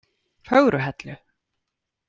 Fögruhellu